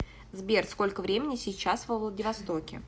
сбер сколько времени сейчас во владивостоке